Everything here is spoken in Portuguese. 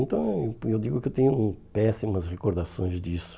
Então, eu digo que eu tenho péssimas recordações disso.